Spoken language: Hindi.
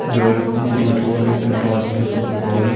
यह एक गुरुद्वारे के बाहर की फोटो है।